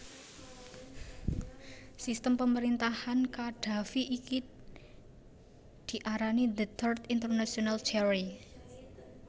Sistem pemerintahan Qaddafi iki diarani The Third International Theory